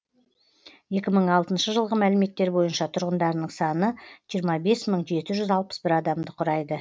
екі мың алтыншы жылғы мәліметтер бойынша тұрғындарының саны жиырма бес мың жеті жүз алпыс бір адамды құрайды